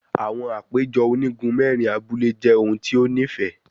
Awọn apejọ onigun mẹrin abule jẹ ohun ti o nifẹ